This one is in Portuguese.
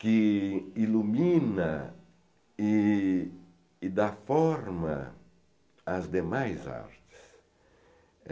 que ilumina e e dá forma às demais artes.